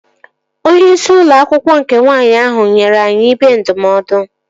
Onyeisi ụlọ akwụkwọ nke nwaanyị ahụ nyere anyị ibe ndụmọdụ